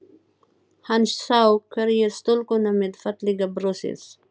Hann sá hvergi stúlkuna með fallega brosið.